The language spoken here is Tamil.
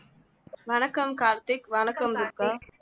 வணக்கம் கார்த்திக் வணக்கம் துர்கா